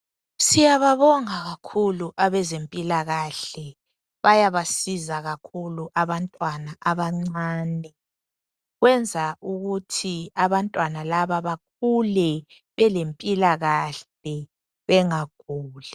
Siyababonga kakhulu abezempilakahle bayaba siza kakhulu abantwana abancane, kwenza ukuthi abantwana laba bakhule belempiilakahle bengaguli.